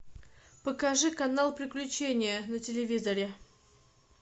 покажи канал приключения на телевизоре